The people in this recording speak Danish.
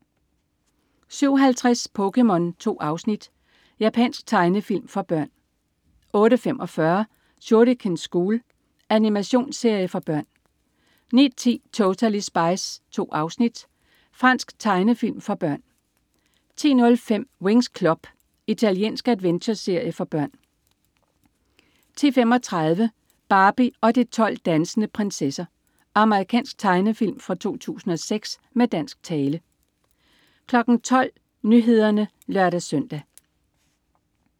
07.50 POKéMON. 2 afsnit. Japansk tegnefilm for børn 08.45 Shuriken School. Animationsserie for børn 09.10 Totally Spies. 2 afsnit. Fransk tegnefilm for børn 10.05 Winx Club. Italiensk adventureserie for børn 10.35 Barbie og de 12 dansende prinsesser. Amerikansk tegnefilm fra 2006 med dansk tale 12.00 Nyhederne (lør-søn)